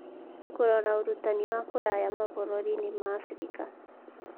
Kũrora Ũrutani wa Kũraya Mabũrũri-inĩ ma Abirika